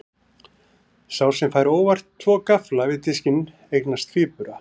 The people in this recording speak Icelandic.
Sá sem fær óvart tvo gaffla við diskinn eignast tvíbura.